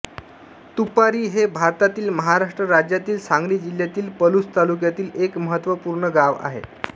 तुपारी हे भारतातील महाराष्ट्र राज्यातील सांगली जिल्ह्यातील पलुस तालुक्यातील एक महत्त्वपूर्ण गाव आहे